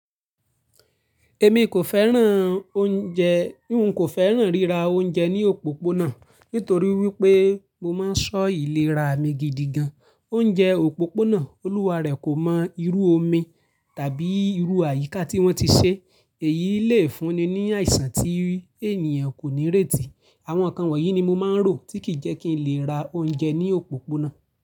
Èmi kò fẹ́ràn oúnjẹ, n kò fẹ́ràn ríra oúnjẹ ní òpópónà nítorí wípé mo máa ń ṣọ́ ìlera mi gidi gan. Oúnjẹ òpópónà, olúwa rẹ̀ kò mọ irú omi tàbí irú àyíká tí wọ́n ti ṣe. Èyí le fúnni ní àìsàn tí ènìyàn kò ní irétì. Àwọn nǹkan wọ̀nyí ni mo máa ń rò tí kì jẹ́ kí n lè ra oúnjẹ ní òpópónà.